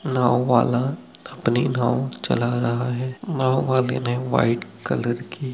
नाव वाला अपनी नाव चला रहा है नाव वाले ने व्हाइट कलर की--